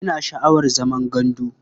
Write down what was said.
Ina sha'awar zaman gandu.